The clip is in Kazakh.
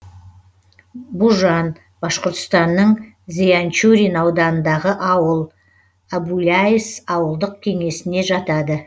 бужан башқұртстанның зианчурин ауданындағы ауыл әбуляйыс ауылдық кеңесіне жатады